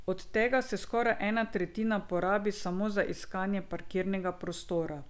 Od tega se skoraj ena tretjina porabi samo za iskanje parkirnega prostora.